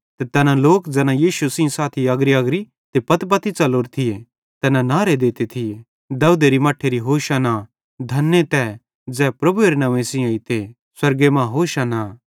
ते तैना लोक ज़ैना यीशु सेइं साथी अग्रीअग्री ते पत्तीपत्ती च़लोरे थिये तैना नहरे देते थिये दाऊदेरे मट्ठेरी होशाना तारीफ़ धने तै ज़ै प्रभुएरे नंव्वे सेइं एइते स्वर्गे मां होशाना